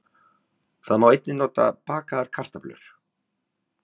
Það má einnig nota á bakaðar kartöflur.